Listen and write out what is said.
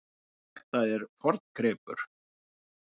Þetta er forngripur.